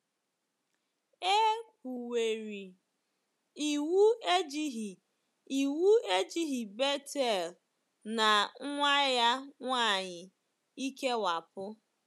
E kwuwerị, iwu ejighị iwu ejighị Bethuel na nwa ya nwanyị ikewapụ.